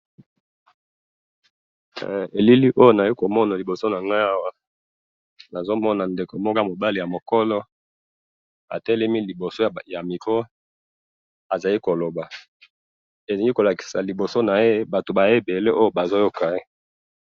Elili oyo nazali komona liboso na ngai awa ,nazo mona ndeko moko ya mobali ya mokolo atelemi liboso ya micro ,azali ko loba, elingi ko lakisa liboso na ye batu baye ebele oyo bazo yoka ye